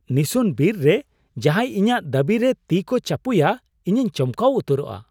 ᱱᱤᱥᱩᱱ ᱵᱤᱨ ᱨᱮ ᱡᱟᱦᱟᱸᱭ ᱤᱧᱟᱹᱜ ᱫᱟᱹᱵᱤᱨᱮ ᱛᱤ ᱠᱚ ᱪᱟᱯᱚᱭᱟ ᱤᱧᱤᱧ ᱪᱚᱢᱠᱟᱣ ᱩᱛᱟᱹᱨᱚᱜᱼᱟ ᱾